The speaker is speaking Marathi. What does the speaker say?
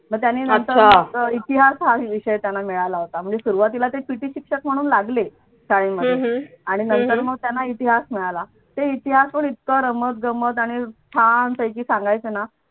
मग त्यांनी नंतर इतिहास हा विषय त्यांना मिळाला होता म्हणजे सुरवातीला ते पिटी शिक्षक म्हणून लागले शाळेमध्ये आणि नंतर मग त्यांना इतिहास मिळाला ते इतिहास पण इतकं रमत गमत आणि छान पैकी सांगायचे ना